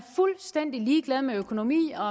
fuldstændig ligeglad med økonomi og